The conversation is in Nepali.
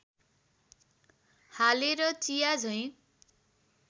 हालेर चिया झैँ